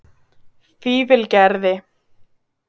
Fífilgerði